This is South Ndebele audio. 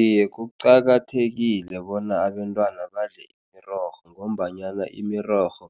Iye, kuqakathekile bona abentwana badle imirorho, ngombanyana imirorho